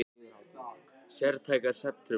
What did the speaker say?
Sértækar svefntruflanir.